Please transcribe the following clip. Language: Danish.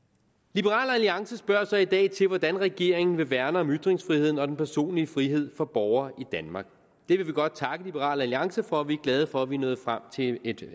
liberal alliance spørger så i dag til hvordan regeringen vil værne om ytringsfriheden og den personlige frihed for borgere i danmark det vil vi godt takke liberal alliance for og vi er glade for at vi er nået frem til et